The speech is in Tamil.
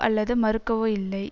அல்லது மறுக்கவோ இல்லை